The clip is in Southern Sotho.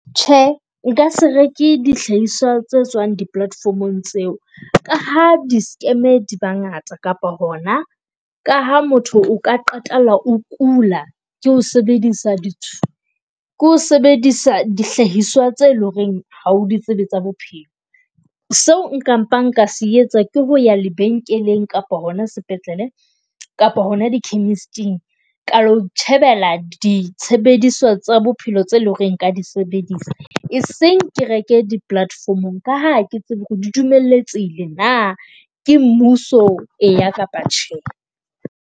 Tjhe nkase reke dihlahiswa tse tswang di-platformong tseo. Ka ha di-scam di ba ngata, kapa hona ka ha motho o ka qetella o kula ke ho sebedisa di ke ho sebedisa dihlahiswa tse loreng ha o di tsebe tsa bophelo. Seo nka mpa nka se etsa ke ho ya lebenkeleng kapa hona sepetlele kapa hona di-chemist-ing ka lo itjhebela disebediswa tsa bophelo tse leng hore nka di sebedisa. E seng ke reke di-platform-ong ka ha ke tsebe hore di dumeletsehile na ke mmuso eya kapa tjhe.